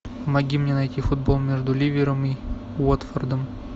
помоги мне найти футбол между ливером и уотфордом